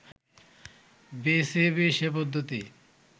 BCB সে পদ্ধতি